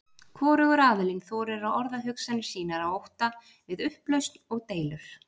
Hvorugur aðilinn þorir að orða hugsanir sínar af ótta við upplausn og deilur.